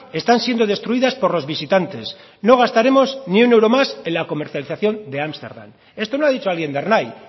están siendo destruidas por los visitantes no gastaremos ni un euro más en la comercialización de ámsterdam esto no ha dicho alguien de ernai